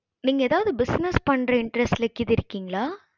நீங்க எதாவது business பன்ற interest கீது இருக்கீங்களா